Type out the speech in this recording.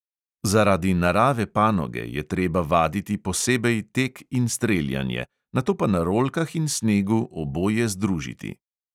Zaradi narave panoge, je treba vaditi posebej tek in streljanje, nato pa na rolkah in snegu oboje združiti.